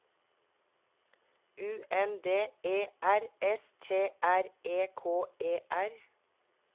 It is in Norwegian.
U N D E R S T R E K E R